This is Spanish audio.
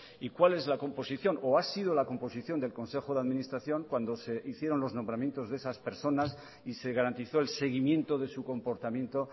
y cuál es la composición o ha sido la composición del consejo de administración cuando se hicieron los nombramientos de esas personas y se garantizó el seguimiento de su comportamiento